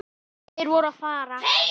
Þeir voru að fara.